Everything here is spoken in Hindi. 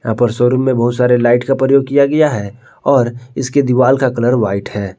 यहां पर शोरूम में बहुत सारे लाइट का प्रयोग किया गया है और इसके दीवाल का कलर व्हाइट है।